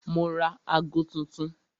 Mo ra ago tuntun